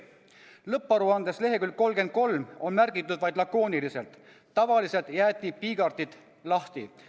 Lõpparuande leheküljel 33 on märgitud vaid lakooniliselt, et tavaliselt jäeti piigartid lahti.